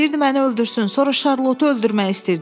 İstəyirdi məni öldürsün, sonra Şarlottu öldürmək istəyirdi.